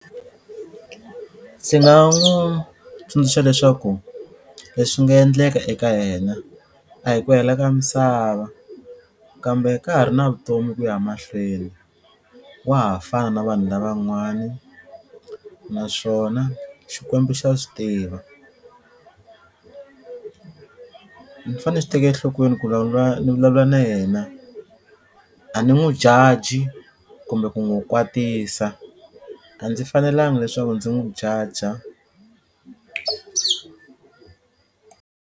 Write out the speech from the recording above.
Ndzi nga n'wu tsundzuxa leswaku leswi nga endleka eka yena a hi ku hela ka misava kambe ka ha ri na vutomi ku ya mahlweni wa ha fana vanhu lavan'wani naswona Xikwembu xa swi tiva ni fane ni swi teke enhlokweni ku ni vulavula na yena a ni n'wu judge kumbe ku n'wu kwatisa a ndzi fanelanga leswaku ndzi n'wu jaja.